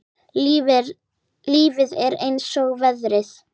Lífið er eins og veðrið.